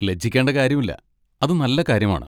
ലജ്ജിക്കേണ്ട കാര്യമില്ല, അത് നല്ല കാര്യമാണ്.